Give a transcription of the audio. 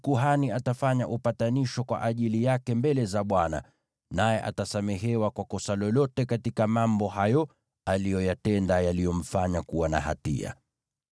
Kwa njia hii kuhani atafanya upatanisho kwa ajili yake mbele za Bwana , naye atasamehewa kwa kosa lolote katika mambo hayo aliyoyatenda yaliyomfanya kuwa na hatia.”